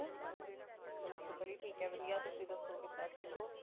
ਹਾਂਜੀ ਸਤਿ ਸ਼੍ਰੀ ਅਕਾਲ ਬੜੀ ਠੀਕ ਏ ਵਧੀਆ ਤੁਸੀ ਦਸੋ ਕਿੱਦਾਂ ਠੀਕ ਹੋ